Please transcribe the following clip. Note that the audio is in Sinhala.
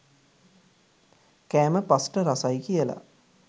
කෑම පස්ට රසයි කියල